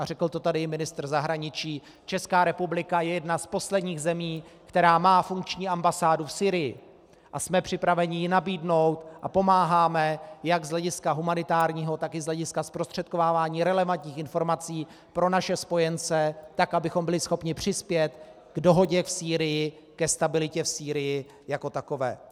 A řekl to tady i ministr zahraničí, Česká republika je jedna z posledních zemí, která má funkční ambasádu v Sýrii, a jsme připraveni ji nabídnout a pomáháme jak z hlediska humanitárního, tak i z hlediska zprostředkovávání relevantních informací pro naše spojence, tak abychom byli schopni přispět k dohodě v Sýrii, ke stabilitě v Sýrii jako takové.